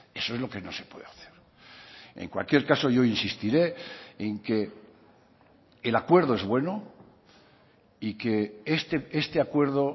eso es lo que no se puede hacer en cualquier caso yo insistiré en que el acuerdo es bueno y que este acuerdo